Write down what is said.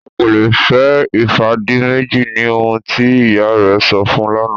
Ọ́ kò lè fẹ́ Ifádìmẹ́jì ní ohun tí ìyá rẹ̀ sọ̀ fún lánà.